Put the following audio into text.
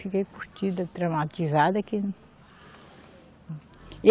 Fiquei curtida, traumatizada que.